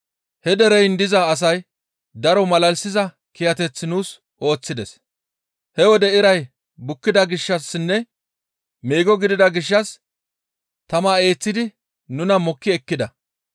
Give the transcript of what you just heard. He dereyin diza asay daro malalisiza kiyateth nuus ooththides; he wode iray bukkida gishshassinne meego gidida gishshas tama eeththidi nuna mokki ekkida.